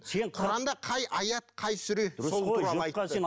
сен құранда қай аят қай сүре сол туралы айтты